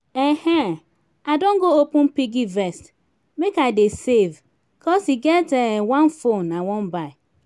um i don go open piggyvest make i dey save cos e get um one phone i wan buy